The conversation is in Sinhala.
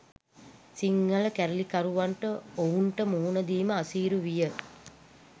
සිංහල කැරලිකරුවන්ට ඔවුන්ට මුහුණ දීම අසීරු විය.